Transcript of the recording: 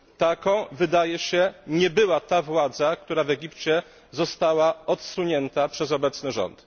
Taką, wydaje się, nie była ta władza, która w Egipcie została odsunięta przez obecny rząd.